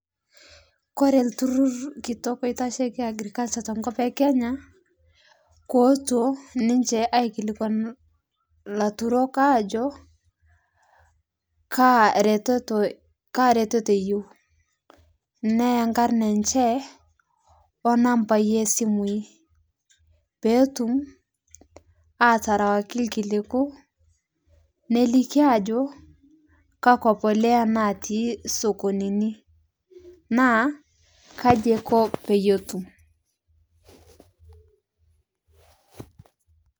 Koree olturur kitok oitashieki agriculture tenkop ekenya kooto ninche aikilikuan larutok aajo kaaretoto eyieu neya nkarn enche o nambai esimu petum aterewaki irkiliku neliki ajo kakwa polea natii sokonini nakaja iko peyietu.